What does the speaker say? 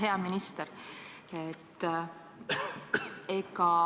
Hea minister!